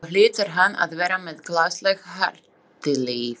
Þá hlýtur hann að vera með gasalegt harðlífi.